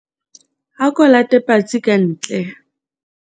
ako late patsi ka ntle